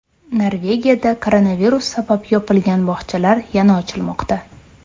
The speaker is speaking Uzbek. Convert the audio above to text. Norvegiyada koronavirus sabab yopilgan bog‘chalar yana ochilmoqda.